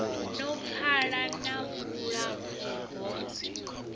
no pfala na vhulapfu ho